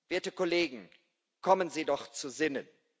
Werte Kollegen, kommen Sie doch zu Sinnen.